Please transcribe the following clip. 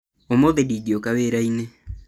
ũmũthĩ ndingĩũka wĩra-inĩ